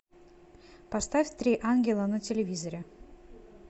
поставь три ангела на телевизоре